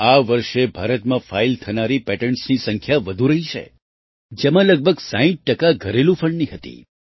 આ વર્ષે ભારતમાં ફાઇલ થનારી પેટન્ટસની સંખ્યા વધુ રહી છે જેમાં લગભગ 60 ટકા ઘરેલુ ફંડની હતી